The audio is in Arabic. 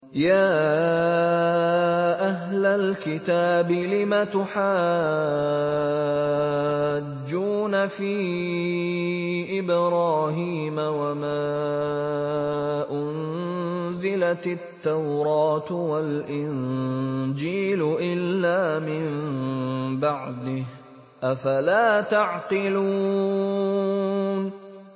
يَا أَهْلَ الْكِتَابِ لِمَ تُحَاجُّونَ فِي إِبْرَاهِيمَ وَمَا أُنزِلَتِ التَّوْرَاةُ وَالْإِنجِيلُ إِلَّا مِن بَعْدِهِ ۚ أَفَلَا تَعْقِلُونَ